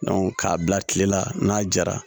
k'a bila kile la n'a jara